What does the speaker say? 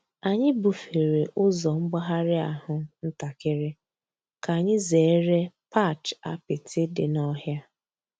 Ányị́ búfèré ụ́zọ́ m̀gbàghàrị́ àhú́ ǹtàkị́rị́ kà ányị́ zèéré patch àpịtị́ dị́ n'ọ̀hị́à.